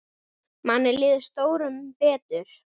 Manni líður stórum betur.